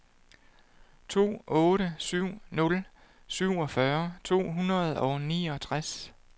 to otte syv nul syvogfyrre to hundrede og niogtres